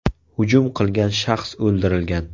Hujum qilgan shaxs o‘ldirilgan .